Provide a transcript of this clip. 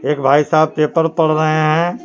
एक भाई साहब पेपर पढ़ रहे हैं।